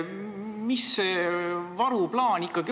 Mis on ikkagi varuplaan?